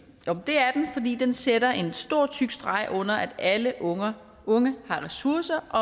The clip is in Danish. det er den sætter en stor tyk streg under at alle unge unge har ressourcer og